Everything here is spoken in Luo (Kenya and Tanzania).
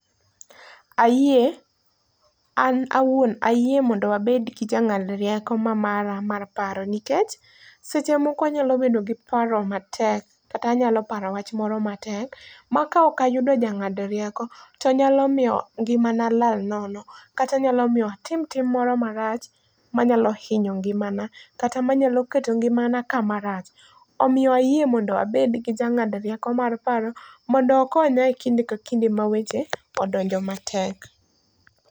Ayie, an awuon ayie mondo abed gi jangád rieko ma mara mar paro. Nikech, seche moko anyalo bedo gi paro matek, kata anyalo paro wach moro matek, ma ka ok ayudo jangád rieko, to nyalo miyo ngimana lal nono, kata nyalo miyo atim tim moro marach manyalo hinyo ngimana, kata manyalo keto ngimana kama rach. Omiyo ayie mondo abed gi jangád rieko mar paro, mondo okonya e kinde ka kinde ma weche odonjo matek.